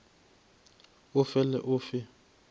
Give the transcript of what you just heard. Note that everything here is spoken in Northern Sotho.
o fe le o fe